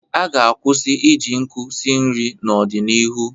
A ga-kwụsị iji nkụ si nri n'ọdịnihu.